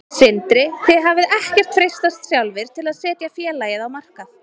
Sindri: Þið hafið ekkert freistast sjálfir til að setja félagið á markað?